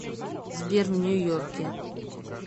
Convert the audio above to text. сбер в нью йорке